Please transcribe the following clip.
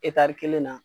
kelen na